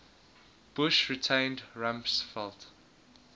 bush retained rumsfeld